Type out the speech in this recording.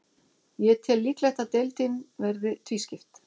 Ég tel líklegt að deildin verði tvískipt.